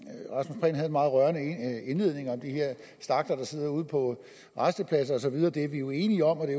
meget rørende indledning om de her stakler der sidder ude på rastepladser og så videre den sag er vi jo enige om og det